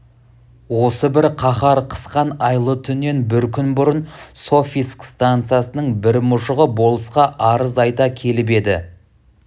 осы бір қаһар қысқан айлы түннен бір күн бұрын софийск станциясының бір мұжығы болысқа арыз айта келіп еді